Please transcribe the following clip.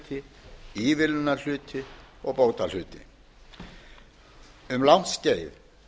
strandveiðihluti byggðahluti leiguhluti ívilnunarhluti og kvótahluti um langt skeið